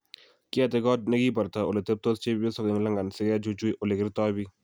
Kiyate Got negibartoi ole teptoi chepiosyok eng London sigechuchui ole kertoi bik